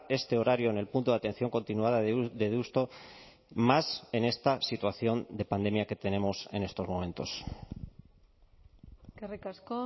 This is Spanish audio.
este horario en el punto de atención continuada de deusto más en esta situación de pandemia que tenemos en estos momentos eskerrik asko